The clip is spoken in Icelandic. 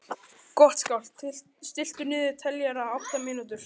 Gottskálk, stilltu niðurteljara á átta mínútur.